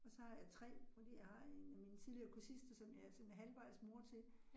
Og så har jeg 3 fordi jeg har 1 af mine tidligere kursister, som jeg er sådan halvvejs mor til